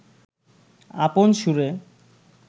আপন সুরে